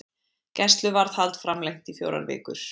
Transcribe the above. Gæsluvarðhald framlengt í fjórar vikur